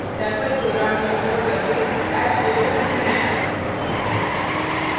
sample program का उपयोग करके हैश को समझते हैं